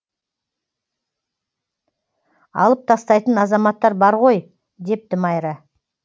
алып тастайтын азаматтар бар ғой депті майра